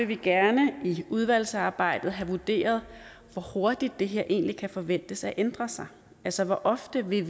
vi gerne i udvalgsarbejdet have vurderet hvor hurtigt det her egentlig kan forventes at ændre sig altså hvor ofte vi